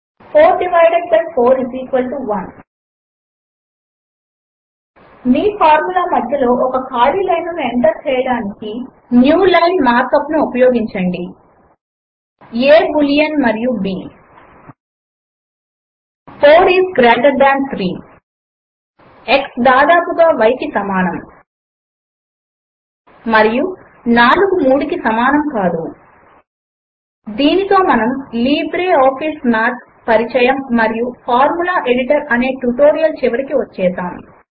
4 divided by 4 1 మీ formula మధ్యలో ఒక ఖాళీ లైనును ఎంటర్ చేయటానికి న్యూ లైన్ మార్క్ అప్ ను ఉపయోగించండి A బూలియన్ మరియు b 4 is greater than 3 X దాదాపుగా y కి సమానం మరియు 4 3 కి సమానం కాదు దీనితో మనము లిబ్రే ఆఫీస్ మాథ్ పరిచయము మరియు ఫార్ములా ఎడిటర్ అనే ట్యుటోరియల్ చివరకు వచ్చేసాము